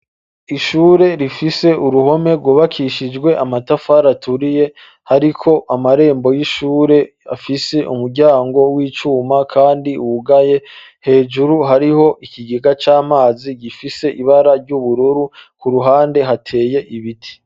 Ishure rifise uruhome rwubakishijwe amatafari aturiye hariko amarembo y'ishure afise umuryango w'icuma kandi wugaye hejuru hariho ikigega c'amazi gifise ibara ry'ubururu ku ruhande hateye ibiti.